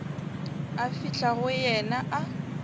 a fihla go yena a